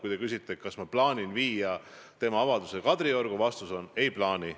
Kui te küsite, kas ma plaanin tema avalduse Kadriorgu viia, siis vastus on, et ei plaani.